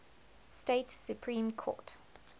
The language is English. states supreme court